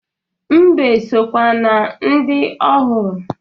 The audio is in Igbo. Mbe sokwa na ndị ọ hụrụ